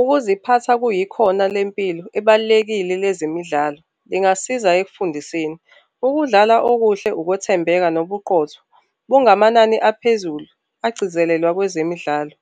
Ukuziphatha kuyikhona lempilo ebalulekile lezemidlalo lingasiza ekufundiseni. Ukudlala okuhle ukwethembeka nobuqotho. Bungamanani aphezulu agcizelela kwezemidlalo.